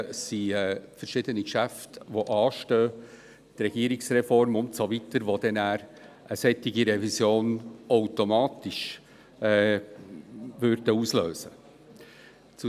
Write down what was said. Es stehen verschiedene Geschäfte an, etwa die Regierungsreform und so weiter, die eine solche Revision automatisch auslösen werden.